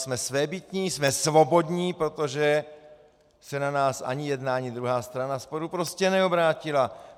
Jsme svébytní, jsme svobodní, protože se na nás ani jedna ani druhá strana sporu prostě neobrátila.